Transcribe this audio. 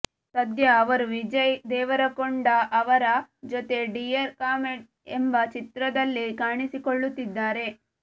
ಸದ್ಯ ಅವರು ವಿಜಯ್ ದೇವರಕೊಂಡ ಅವರ ಜೊತೆ ಡಿಯರ್ ಕಾಮ್ರೇಡ್ ಎಂಬ ಚಿತ್ರದಲ್ಲಿ ಕಾಣಿಸಿಕೊಳ್ಳುತ್ತಿದ್ದಾರೆ